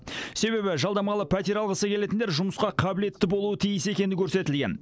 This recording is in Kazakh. себебі жалдамалы пәтер алғысы келетіндер жұмысқа қабілетті болуы тиіс екені көрсетілген